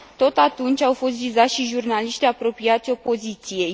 Tot atunci au fost vizați și jurnaliștii apropiați opoziției.